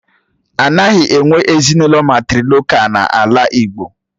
Anaghị enwe ezinụlọ mátrịlokál n'ala igbo